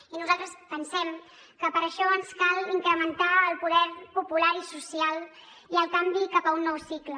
i nosaltres pensem que per això ens cal incrementar el poder popular i social i el canvi cap a un nou cicle